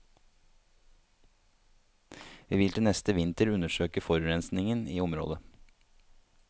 Vi vil til neste vinter undersøke forurensingen i området.